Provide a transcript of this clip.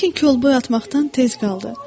Lakin kol boy atmaqdan tez qaldı.